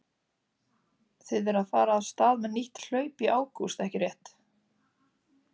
Þið er að fara af stað með nýtt hlaup í ágúst ekki rétt?